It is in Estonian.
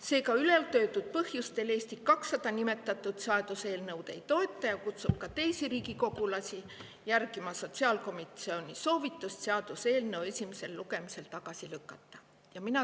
Seega, ülaltoodud põhjustel Eesti 200 seda seaduseelnõu ei toeta ja kutsub ka teisi riigikogulasi üles järgima sotsiaalkomisjoni soovitust eelnõu esimesel lugemisel tagasi lükata.